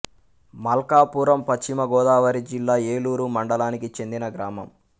మల్కాపురం పశ్చిమ గోదావరి జిల్లా ఏలూరు మండలానికి చెందిన గ్రామం